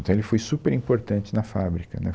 Então ele foi super importante na fábrica, né